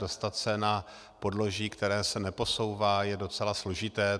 Dostat se na podloží, které se neposouvá, je docela složité.